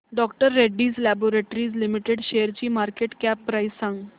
डॉ Reddy's laboratories limited शेअरची market cap price सांगा